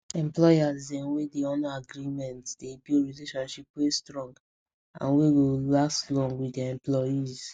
employers dem wey dey honor agreements dey build relationships wey strong and wey go last long with dia employees